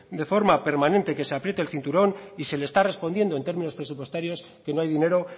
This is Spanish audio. de forma permanente que se apriete el cinturón y se le está respondiendo en términos presupuestarios que no hay dinero